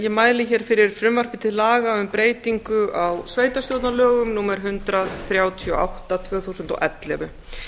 ég mæli hér fyrir frumvarpi til laga um breytingu á sveitarstjórnarlögum númer hundrað þrjátíu og átta tvö þúsund og ellefu